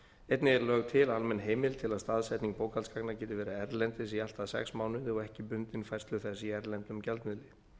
einnig er lögð til almenn heimild til að staðsetning bókhaldsgagna geti verið erlendis í allt að sex mánuði og ekki bundin færslu þess í erlendum gjaldmiðli